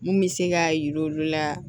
Mun bɛ se k'a jira olu la